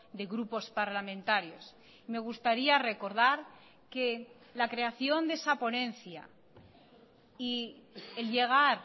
de grupos parlamentarios me gustaría recordar que la creación de esa ponencia y el llegar